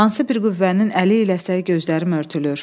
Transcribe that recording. Hansı bir qüvvənin əli iləsə gözlərim örtülür.